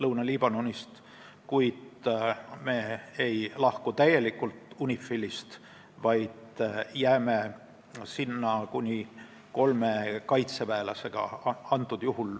Me ei lahku UNIFIL-ist täielikult, vaid jääme sinna kuni kolme kaitseväelasega.